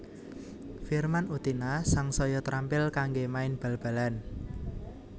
Firman Utina sangsaya trampil kanggé main bal balan